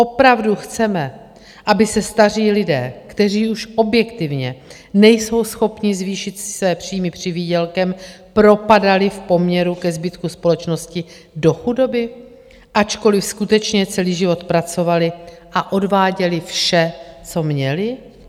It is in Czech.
Opravdu chceme, aby se staří lidé, kteří už objektivně nejsou schopni zvýšit si své příjmy přivýdělkem, propadali v poměru ke zbytku společnosti do chudoby, ačkoliv skutečně celý život pracovali a odváděli vše, co měli?